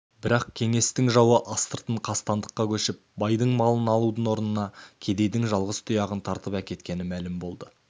бірақ кеңестің жауы астыртын қастандыққа көшіп байдың малын алудың орнына кедейдің жалғыз тұяғын тартып әкеткені мәлім болды